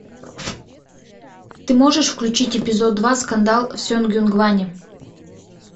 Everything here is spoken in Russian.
ты можешь включить эпизод два скандал в сонгюнгване